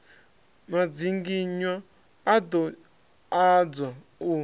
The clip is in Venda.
madzinginywa a ḓo adzwa u